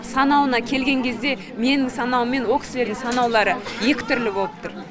санауына келген кезде менің санауым мен о кісілердің санаулары екі түрлі болып тұр